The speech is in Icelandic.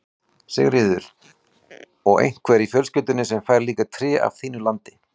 Sigríður: Og einhver í fjölskyldunni sem fær líka tré af þínu landi?